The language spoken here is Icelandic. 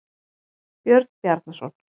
Björn Bjarnarson.